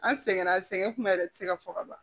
An sɛgɛnna sɛŋɛ kuma yɛrɛ tɛ se ka fɔ ka ban